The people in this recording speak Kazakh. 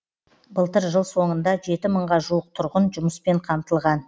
былтыр жыл соңында жеті мыңға жуық тұрғын жұмыспен қамтылған